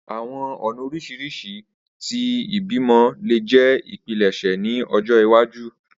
Awọn ọna oriṣiriṣi ti ibimọ le jẹ ipilẹṣẹ ni ọjọ iwaju